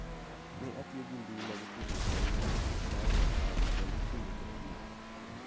Ne atiyo gi mbui mag tudruok ahinya ma ok aparo kendo kinde ka kinde�